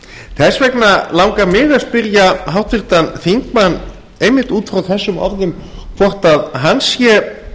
þess vegna langar mig að spyrja háttvirtan þingmann einmitt út frá þessum orðum hvort hann sé